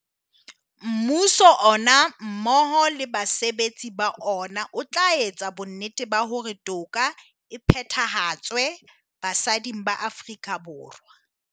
Mmuso ona mmoho le basebetsi ba ona o tla etsa bonnete ba hore toka e phethahatswe basading ba Aforika Borwa.